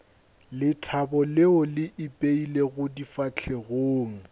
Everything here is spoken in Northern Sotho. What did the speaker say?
lethabo leo le ipeilego difahlegong